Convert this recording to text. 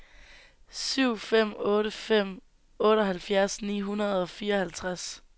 syv fem otte fem otteoghalvfjerds ni hundrede og fireoghalvtreds